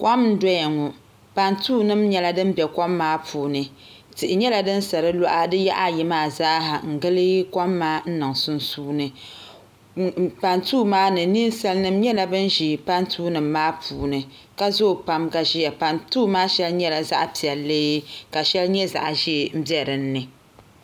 Kom n doya ŋo pantuu nim nyɛla din bɛ kom maa puuni tihi nyɛla din sa di yaɣa ayi maa zaaha n gili kom maa niŋ sunsuuni pantuu maa ni Ninsal nim nyɛla bin ʒi pantuu nim maa puuni ka zoo pam ka ʒiya pantuu maa shɛli nyɛla zaɣ piɛlli ka shɛli nyɛ zaɣ ʒiɛ n bɛ dinni